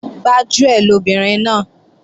Gbájúẹ̀ lobìnrin náà